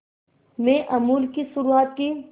में अमूल की शुरुआत की